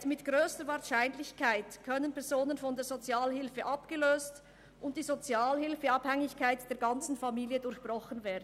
Er sagte: «Mit grösster Wahrscheinlichkeit können Personen von der Sozialhilfe abgelöst und die Sozialhilfeabhängigkeit der ganzen Familie durchbrochen werden.»